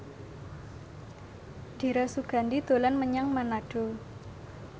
Dira Sugandi dolan menyang Manado